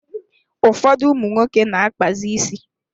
Ụfọdụ ụmụ nwoke na-akpazi isi.